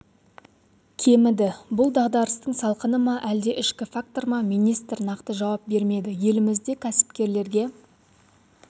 кеміді бұл дағдарыстың салқыны ма әлде ішкі фактор ма министр нақты жауап бермеді елімізде кәсіпкерлерге